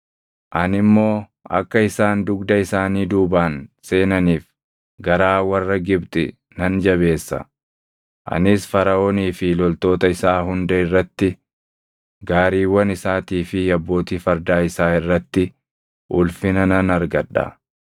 Ani immoo akka isaan dugda isaanii duubaan seenaniif garaa warra Gibxi nan jabeessa. Anis Faraʼoonii fi loltoota isaa hunda irratti, gaariiwwan isaatii fi abbootii fardaa isaa irratti ulfina nan argadha.